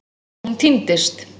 Svo hún týndist.